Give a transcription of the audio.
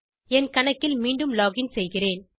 என் கணக்கில் மீண்டும் லோகின் செய்கிறேன்